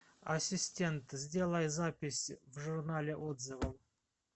ассистент сделай запись в журнале отзывов